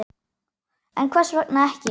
En hvers vegna ekki?